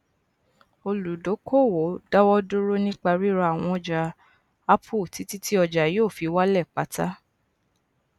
olùdókòwò dáwọdúró nípa ríra àwọn ọjà apple títí tí ọjà yoo fi wálẹ pàtá